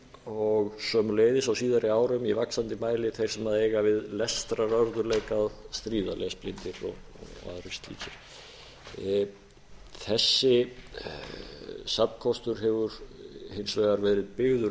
og einnig á síðari árum í vaxandi mæli þeir sem eiga við lestrarörðugleika að stríða lesblindir og aðrir slíkir þessi safnkostur hefur hins vegar verið byggður